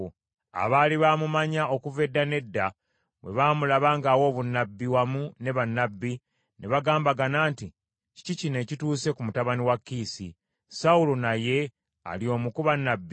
Abaali baamumanya okuva edda n’edda bwe baamulaba ng’awa obunnabbi wamu ne bannabbi, ne bagambagana nti, “Kiki kino ekituuse ku mutabani wa Kiisi? Sawulo naye ali omu ku bannabbi?”